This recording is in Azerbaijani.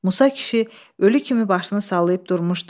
Musa kişi ölü kimi başını sallayıb durmuşdu.